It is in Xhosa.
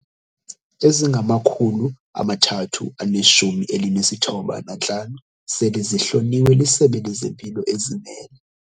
Ezingama-395 sele zihloliwe liSebe lezeMpilo, ezimele.